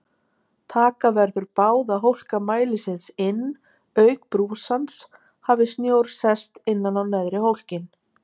Taka verður báða hólka mælisins inn auk brúsans hafi snjór sest innan á neðri hólkinn.